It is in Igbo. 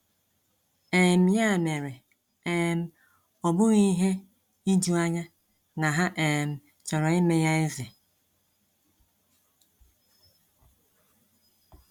um Ya mere, um ọ bụghị ihe ijuanya na ha um chọrọ ime ya eze.